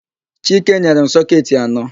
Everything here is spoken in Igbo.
Chike nyere m sọketị anọ.